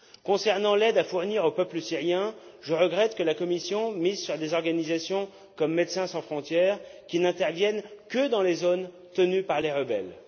Concernant l'aide à fournir au peuple syrien, je regrette que la Commission mise sur des organisations comme Médecins sans frontières, qui n'interviennent que dans les zones tenues par les rebelles.